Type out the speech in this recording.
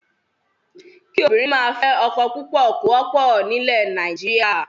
Kí obìnrin máa fẹ́ ọkọ púpọ̀ kò wọ́pọ̀ nílẹ̀ Nàìjíríà.